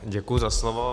Děkuji za slovo.